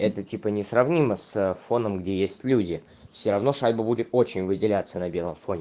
это типа несравнимо с фоном где есть люди всё равно шайбу будет очень выделяться на белом фоне